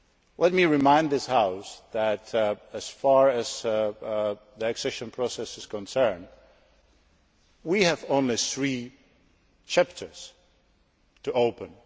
chapters. Let me remind this House that, as far as the accession process is concerned, we have only three chapters